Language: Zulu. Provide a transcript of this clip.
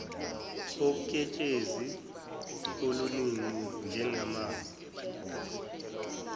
uketshezi oluningi njengamanzi